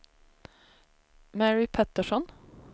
Mary Pettersson